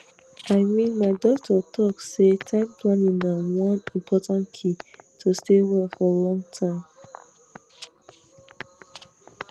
i mean my doctor talk say time planning na one important key to stay well for long time